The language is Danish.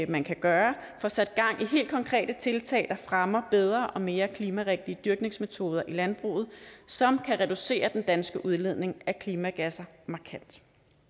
man kan gøre får sat gang i helt konkrete tiltag der fremmer bedre og mere klimarigtige dyrkningsmetoder i landbruget som kan reducere den danske udledning af klimagasser markant